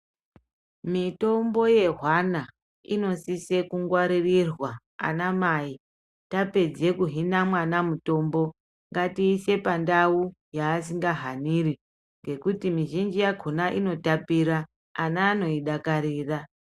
Mitombo yehwana inosise kungwaririrwa ana mai tapedze kuhina mwana mutombo ngatiise pandau paasingahaniri ngekuti ngekuti mizhinji yakhona inotapira ana anoidakarira.